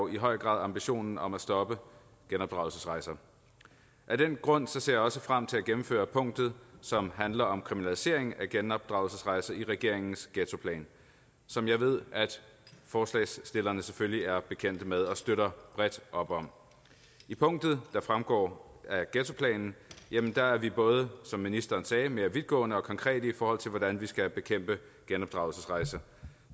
i høj grad ambitionen om at stoppe genopdragelsesrejser af den grund ser jeg også frem til at gennemføre punktet som handler om kriminalisering af genopdragelsesrejser i regeringens ghettoplan som jeg ved forslagsstillerne selvfølgelig er bekendt med og støtter bredt op om i punktet der fremgår af ghettoplanen er er vi både som ministeren sagde mere vidtgående og konkrete i forhold til hvordan vi skal bekæmpe genopdragelsesrejser